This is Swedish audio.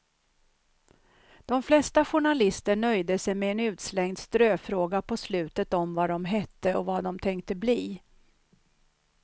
De flesta journalister nöjde sig med en utslängd ströfråga på slutet om vad de hette och vad dom tänkte bli.